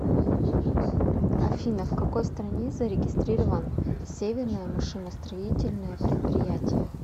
афина в какой стране зарегистрирован северное машиностроительное предприятие